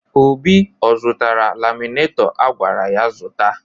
Obi ọ zụtara laminaitọ a gwara ya zụta?